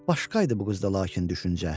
Başqa idi bu qızda lakin düşüncə.